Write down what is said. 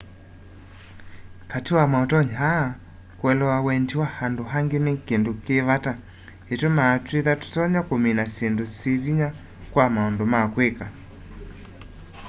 kati wa mautonyi aa kuelewa wendi wa andu angi ni kindu ki vata itumaa twithwa tutonya kumina syindu syivinya sya maundu ma kwika